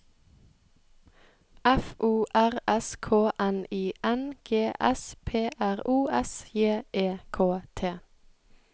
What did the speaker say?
F O R S K N I N G S P R O S J E K T